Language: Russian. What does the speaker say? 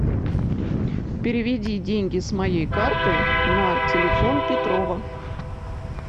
переведи деньги с моей карты на телефон петрова